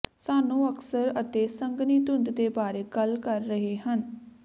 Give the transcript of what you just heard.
ਸਾਨੂੰ ਅਕਸਰ ਅਤੇ ਸੰਘਣੀ ਧੁੰਦ ਦੇ ਬਾਰੇ ਗੱਲ ਕਰ ਰਹੇ ਹਨ